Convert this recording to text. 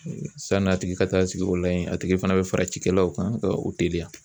San'a tigi ka taa sigi o la yen a tigi fana bɛ fara cikɛlaw kan ka u teliya